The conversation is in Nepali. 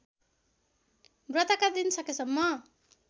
व्रतका दिन सकेसम्म